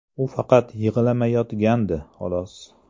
U faqat yig‘lamayotgandi, xolos.